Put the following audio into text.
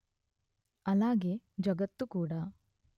అలాగే జగత్తు కూడా